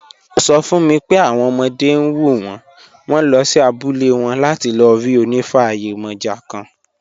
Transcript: Ó sọ fún mi pé àwọn ọmọdé ń wù wọ́n, wọ́n lọ sí abúlé wọn láti lọ rí onifa yemoja kan.